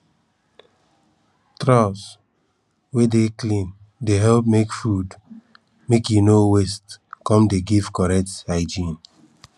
troughs wey dey clean dey help make food make e no waste come dey give correct hygiene